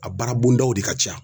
A baara bondaw de ka ca.